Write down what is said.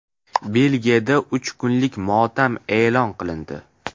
Belgiyada uch kunlik motam e’lon qilindi.